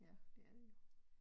Ja det er det jo